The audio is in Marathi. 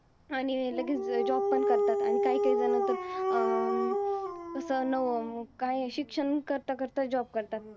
आणि लगेच job पण करतात. आणि काहीकाही जन तर अं तसं, नवं, काये शिक्षण करता करता job करतात.